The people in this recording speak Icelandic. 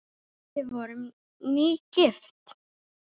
Við vorum nýgift!